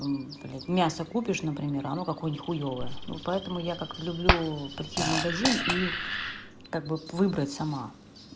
блядь мясо купишь например а оно какое-нибудь нихуевое вот поэтому я как-то люблю прийти в магазин и как бы выбрать сама